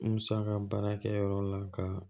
Musaka baarakɛ yɔrɔ la ka